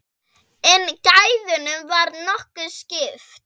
En gæðunum var nokkuð skipt.